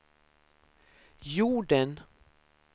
jorden